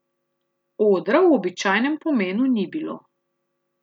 Odra v običajnem pomenu ni bilo.